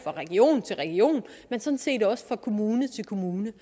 region til region men sådan set også fra kommune til kommune